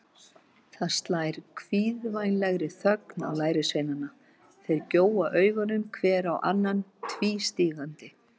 Það slær kvíðvænlegri þögn á lærisveinana, þeir gjóa augunum hver á annan tvístígandi.